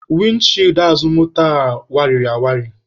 Windi chịịdi azụ moto a wariri awali.